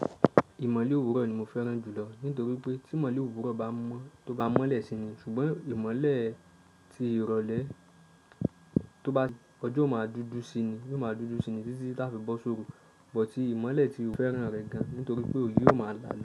Ìmọ̀le òwúrọ̀ ni mo fẹ́ràn jùlọ nítorí pé tí ìmọ̀le òwúrọ̀ tó bá mọ́lẹ̀ sí ni, ṣùgbọ́n ìmọ̀le tí ìrọ̀lẹ́ tó bá ń ọjọ́ máa dúdú sí i ni yóò máa dúdú sí i ní títí láti ìbò sóòrùn. Bọ̀ tí ìmọ̀le tí òfẹ́ràn rẹ gan nítorí pé òbí yóò máa la.